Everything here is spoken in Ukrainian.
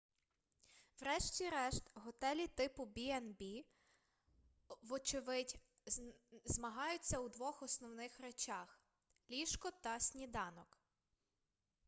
врешті-решт готелі типу b&b вочевидь змагаються у двох основних речах ліжко та сніданок